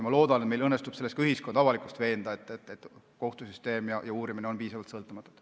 Ma loodan, et meil õnnestub ka ühiskonda ja avalikkust veenda selles, et kohtusüsteem ja uurimine on piisavalt sõltumatud.